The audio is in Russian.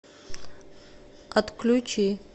отключи